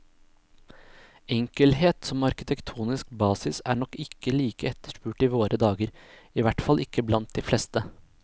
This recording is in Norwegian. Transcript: Enkelhet som arkitektonisk basis er nok ikke like etterspurt i våre dager, ihvertfall ikke blant de fleste.